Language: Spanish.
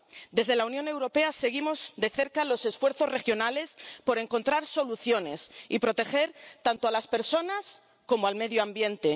Desde la Unión Europea seguimos de cerca los esfuerzos regionales por encontrar soluciones y proteger tanto a las personas como al medio ambiente.